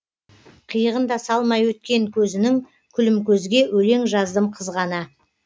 қиығын да салмай өткен көзінің күлімкөзге өлең жаздым қызғана